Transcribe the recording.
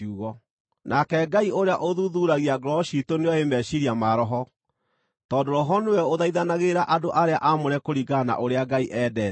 Nake Ngai ũrĩa ũthuthuuragia ngoro ciitũ nĩoĩ meciiria ma Roho, tondũ Roho nĩwe ũthaithanagĩrĩra andũ arĩa aamũre kũringana na ũrĩa Ngai endete.